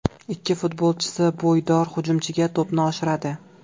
Ikki futbolchisi bo‘ydor hujumchiga to‘pni oshiradi.